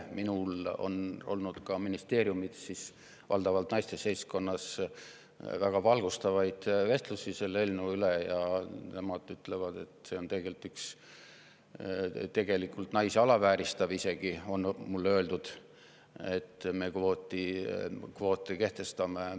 Minul on olnud ministeeriumis valdavalt naiste seltskonnas väga valgustavaid vestlusi selle eelnõu üle ja mulle on öeldud, et see on tegelikult naisi alavääristav, kui me kvoote kehtestame.